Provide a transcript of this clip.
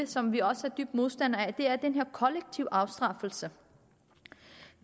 som vi også er dybt modstandere af er den her kollektive afstraffelse